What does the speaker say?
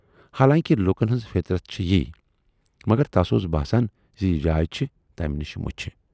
حالانکہِ لوٗکن ہٕنز فِطرت چھے یی، مگر تَس اوس باسان زِ یہِ جاے چھَ تمہِ نِش مُچھِ۔